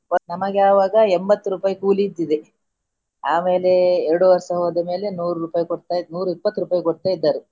ನಮಗೆ ಆವಾಗ ಎಂಬತ್ತು ರೂಪಾಯಿ ಕೂಲಿ ಇದ್ದಿದೆ ಆಮೇಲೆ ಎರಡು ವರ್ಷ ಹೋದ ಮೇಲೆ ನೂರು ರೂಪಾಯಿ ಕೊಡ್ತಾ ನೂರ ಇಪ್ಪತ್ತು ರೂಪಾಯಿ ಕೊಡ್ತಾ ಇದ್ದಾರೆ.